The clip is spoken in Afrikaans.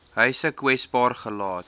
huise kwesbaar gelaat